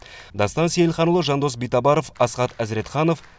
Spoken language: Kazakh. дастан сейілханұлы жандос битабаров асхат әзіретханов